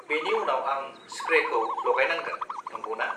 बेनि उनाव आं स्प्रेखौ लागायनांगोन, नंगौना?